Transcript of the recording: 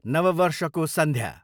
नव वर्षको सन्ध्या